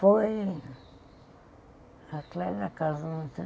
Foi... Atrás da casa.